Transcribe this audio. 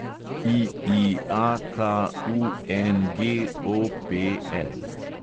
IIAKUNGOPL